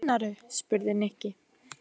Hvað meinarðu? spurði Nikki.